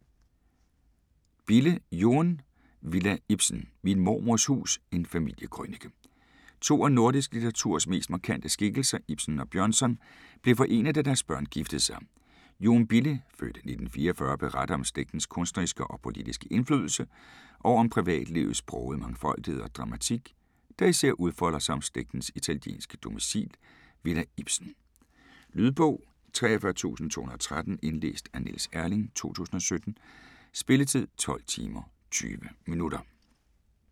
Bille, Joen: Villa Ibsen: min mormors hus: en familiekrønike To af nordisk litteraturs mest markante skikkelser, Ibsen og Bjørnson, blev forenet da deres børn giftede sig. Joen Bille (f. 1944) beretter om slægtens kunstneriske og politiske indflydelse, og om privatlivets brogede mangfoldighed og dramatik, der især udfolder sig om slægtens italienske domicil Villa Ibsen. Lydbog 43213 Indlæst af Niels Erling, 2017. Spilletid: 12 timer, 20 minutter.